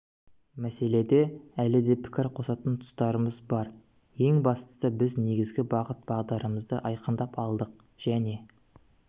мәселеде әлі де пікір қосатын тұстарымыз бар ең бастысы біз негізгі бағыт-бағдарымызды айқындап алдық және